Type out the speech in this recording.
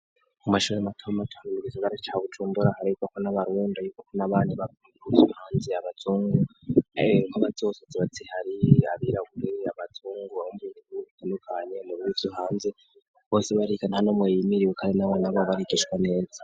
Mu mashori matamaatan ugisogara ca bucumbura haraikako n'abarunda y'ukoko n'abana bakunguvyohanze abazungu ko abazosoze baziharirabira gureriya abazungumbuiitandukanye mu biru vyo hanze bose barrikana hano mwiyimiriwukare n'abana bo barigishwa neza.